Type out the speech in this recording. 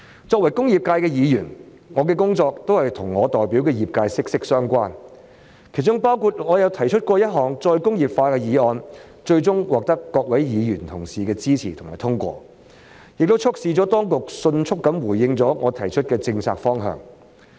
作為工業界的議員，我的工作與我所代表的業界息息相關，其中包括由我提出推動再工業化的議案，最終獲得各位議員同事的支持及通過，亦促使當局迅速回應我提出的政策方向。